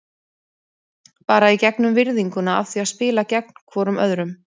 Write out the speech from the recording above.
Bara í gegnum virðinguna af því að spila gegn hvorum öðrum.